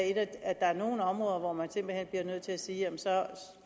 er nogle områder hvor man simpelt hen bliver nødt til at sige